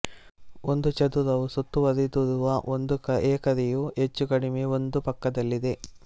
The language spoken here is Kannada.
ಒಂದು ಚದುರವು ಸುತ್ತುವರಿದಿರುವ ಒಂದು ಎಕರೆಯು ಹೆಚ್ಚು ಕಡಿಮೆ ಒಂದು ಪಕ್ಕದಲ್ಲಿದೆ